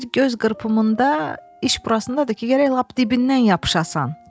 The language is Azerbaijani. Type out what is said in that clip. Bir göz qırpımında iş burasındadır ki, gərək lap dibindən yapışasan,